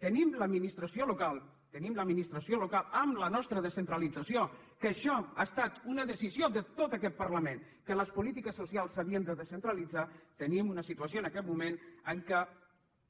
tenim l’administració local tenim l’administració local amb la nostra descentralització que això ha estat una decisió de tot aquest parlament que les polítiques socials s’havien de descentralitzar tenim una situació en aquest moment en què